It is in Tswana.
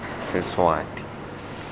seswati